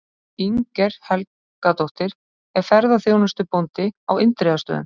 Inger Helgadóttir er ferðaþjónustubóndi á Indriðastöðum.